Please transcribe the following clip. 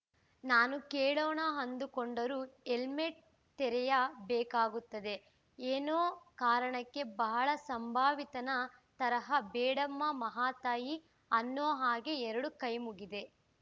ನಾನು ಕೇಳೋಣ ಅಂದುಕೊಂಡರೂ ಹೆಲ್ಮೆಟ್ಟು ತೆರೆಯ ಬೇಕಾಗುತ್ತದೆ ಎನ್ನೋ ಕಾರಣಕ್ಕೆ ಬಹಳ ಸಂಭಾವಿತನ ತರಹ ಬೇಡಮ್ಮಾ ಮಹಾತಾಯಿ ಅನ್ನೋ ಹಾಗೆ ಎರಡು ಕೈಮುಗಿದೆ